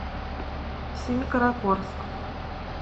семикаракорск